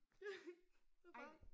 Ja det bare